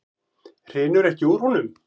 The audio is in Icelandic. Hrinur ekki úr honum?